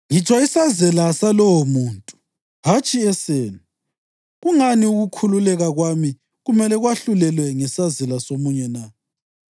ngitsho isazela salowomuntu, hatshi esenu. Kungani ukukhululeka kwami kumele kwahlulelwe ngesazela somunye na?